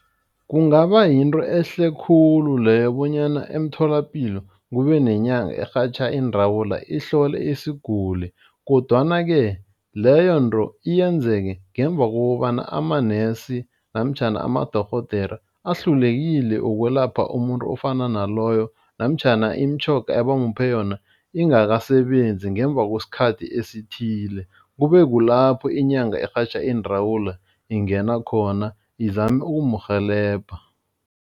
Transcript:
Kungaba yinto ehle khulu leyo bonyana emtholapilo kube nenyanga erhatjha iindawula. Ihlole isiguli kodwana-ke leyo nto yenzeke ngemva kobana amanesi namtjhana amadorhodere ahlulekile ukwelapha umuntu ofana naloyo namtjhana imitjhoga abamuphe yona ingasasebenzi ngemva kwesikhathi esithile. Kube kulapho inyanga erhatjha iindawula ingena khona izama ukumrhelebha.